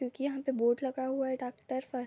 क्युकी यहाँ पे बोर्ड लाग हुआ है डाक्टर फर --